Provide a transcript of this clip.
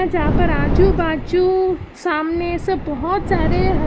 जहां पर आजू बाजू सामने से बहोत सारे हरे--